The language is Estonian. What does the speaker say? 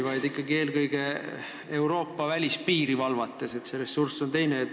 Seda võiks ikkagi teha eelkõige Euroopa välispiiri valvates, kus ressurss on teine.